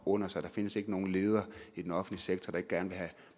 under sig der findes ikke nogen leder i den offentlige sektor der ikke gerne vil have